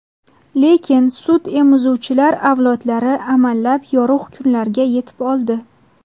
Lekin sutemizuvchilar avlodlari amallab yorug‘ kunlarga yetib oldi.